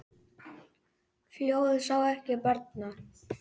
Fljóð sá ekki barnar.